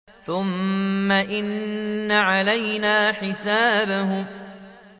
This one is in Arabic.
ثُمَّ إِنَّ عَلَيْنَا حِسَابَهُم